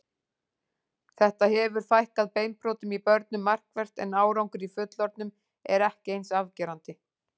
Þetta hefur fækkað beinbrotum í börnum markvert en árangur í fullorðnum er ekki eins afgerandi.